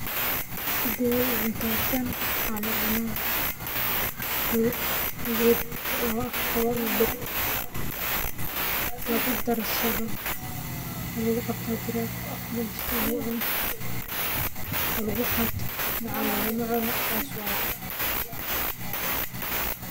Sithe u cunta tan geed lawa af qawo ama oo lagu darsadho aya hira oo lagu cuno oo lagu qato aya jira sas waye.